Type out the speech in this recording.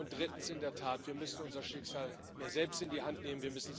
Und drittens In der Tat müssen wir unser Schicksal mehr selbst in die Hand nehmen.